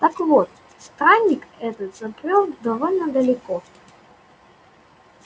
так вот странник этот забрёл довольно далеко